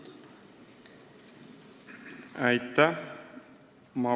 Aitäh!